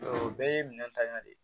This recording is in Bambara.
o bɛɛ ye minɛn tan yɛrɛ de ye